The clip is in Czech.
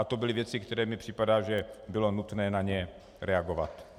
A to byly věci, které mi připadají, že bylo nutné na ně reagovat.